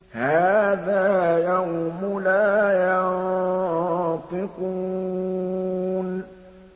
هَٰذَا يَوْمُ لَا يَنطِقُونَ